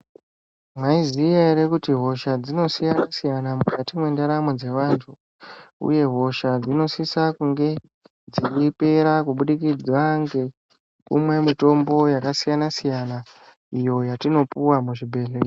Maizviziya ere kuti hosha dzinosiyana siyana mukati mwendaramo dzevantu uye hosha dzinosise kunge dzaipera kubudikidza ngekumwe mitombo yakasiyana siyana iyo yatinopuwa muzvibhedhlera.